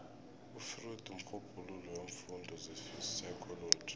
ufreud mrhubhululi weemfundo zepsychology